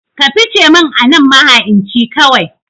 Ka fice min anan maha'inci kawai